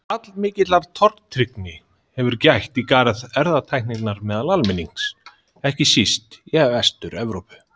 Allmikillar tortryggni hefur gætt í garð erfðatækninnar meðal almennings, ekki síst í Vestur-Evrópu.